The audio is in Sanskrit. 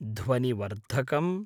ध्वनिवर्धकम्